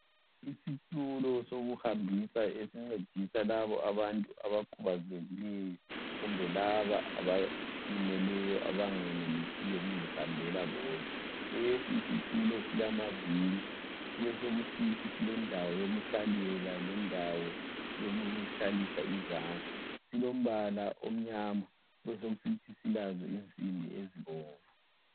Isitulo sokuhambisa esincedisa labo abantu abakhubazekileyo kumbe laba abalimeleyo abengenelisiyo ukuzihambela bodwa, lesi Isitulo silamaviri kube sokusithi silendawo yokuhlalela lendawo yokuhlalisa izandla silombala omnyama kubesokusithi silazo insimbi ezibomvu.